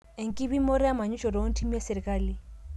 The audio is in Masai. enkipimotoe emanyisho too ntimi esisrali